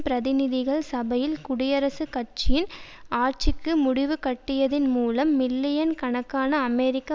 பிரதிநிதிகள் சபையில் குடியரசுக் கட்சியின் ஆட்சிக்கு முடிவுகட்டியதன் மூலம் மில்லியன் கணக்கான அமெரிக்க